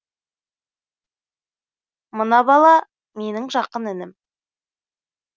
мынау бала менің жақын інім